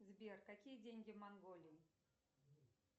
сбер какие деньги в монголии